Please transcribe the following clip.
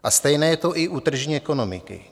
A stejné je to i u tržní ekonomiky.